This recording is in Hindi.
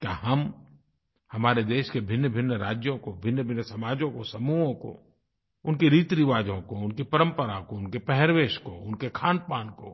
क्या हम हमारे देश के भिन्नभिन्न राज्यों को भिन्नभिन्न समाजों को समूहों को उनके रीतिरिवाजों को उनकी परम्परा को उनके पहर्वेश पहनावे को उनके खानपान को